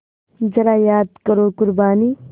ज़रा याद करो क़ुरबानी